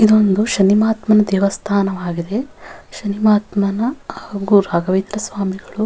ಇದೊಂದು ಶನಿ ಮಹಾತ್ಮನ ದೇವಸ್ಥಾನ ಆಗಿದೆ ಶನಿ ಮಹಾತ್ಮನ ಹಾಗು ರಾಘವೇಂದ್ರ ಸ್ವಾಮಿಗಳು --